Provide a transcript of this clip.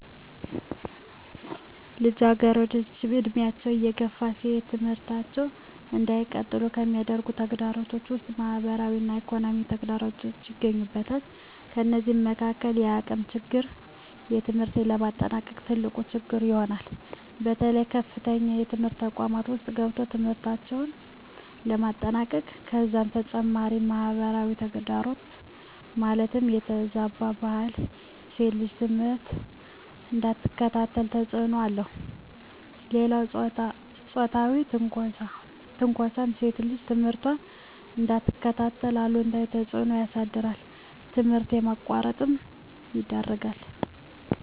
ልጃገረዶች ዕድሜያቸው እየገፋ ሲሄድ ትምህርታቸውን እንዳይቀጥሉ ከሚከለክሉ ተግዳሮቶች ውስጥ ማህበራዊ እና ኢኮኖሚያዊ ተግዳሮቶች ይገኙበታል። ከነዚህም መካካል የአቅም ችግር ትምህርት ለማጠናቀቅ ትልቁ ችግር ይሆናል። በተለይ በከፍተኛ ትምህርት ተቋማት ውስጥ ገብቶ ትምህርትን ለማጠናቀቅ ከዛም በተጨማሪ ማህበራዊ ተግዳሮት ማለትም የተዛባ ባህል ሴት ልጅ ትምህርቷን እንዳትከታተል ተፅዕኖ አለው። ሌላው ፆታዊ ትንኳሳም ሴት ልጅ ትምህርቷን እንዳትከታተል አሉታዊ ተፅዕኖ ያሳድራል ትምህርት ለማቋረጥ ይዳርጋል።